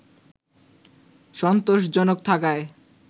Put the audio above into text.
সন্তোষজনক থাকায়